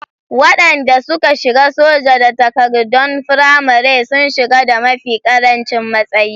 Waɗanda suka shiga soja da takardon firamare sun shiga da mafi ƙarancin matsayi.